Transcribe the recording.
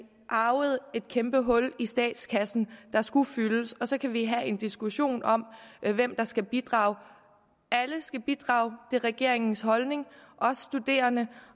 arvede et kæmpe hul i statskassen der skulle fyldes så kan vi have en diskussion om hvem der skal bidrage alle skal bidrage det er regeringens holdning også studerende